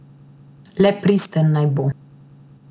Le pristen naj bo.